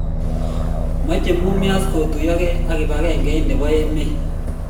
mache mumias kotuyogei ak kibagen'ege nebo emet